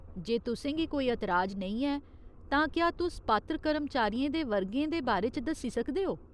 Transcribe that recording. जे तुसें गी कोई एतराज नेईं ऐ, तां क्या तुस पात्र कर्मचारियें दे वर्गें दे बारे च दस्सी सकदे ओ ?